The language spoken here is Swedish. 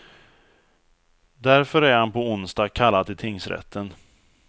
Därför är han på onsdag kallad till tingsrätten.